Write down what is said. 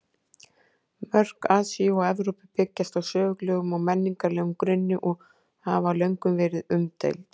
Mörk Asíu og Evrópu byggjast á sögulegum og menningarlegum grunni og hafa löngum verið umdeild.